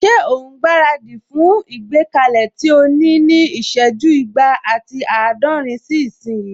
Ṣé òun gbára dì fún ìgbékalẹ̀ tí o ní ní ìsẹ́jú igba ati àádọ́rin sí ìsín?